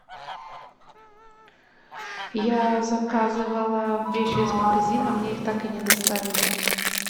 я заказывала вещи из магазина мне их так и не доставили